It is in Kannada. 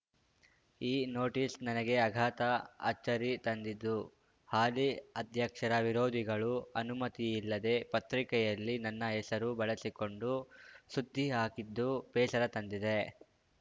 ಈ ನೋಟಿಸ್‌ ನನಗೆ ಅಘಾತ ಅಚ್ಚರಿ ತಂದಿದ್ದು ಹಾಲಿ ಅಧ್ಯಕ್ಷರ ವಿರೋಧಿಗಳು ಅನುಮತಿಯಿಲ್ಲದೆ ಪತ್ರಿಕೆಯಲ್ಲಿ ನನ್ನ ಹೆಸರು ಬಳಸಿಕೊಂಡು ಸುದ್ದಿ ಹಾಕಿದ್ದು ಬೇಸರ ತಂದಿದೆ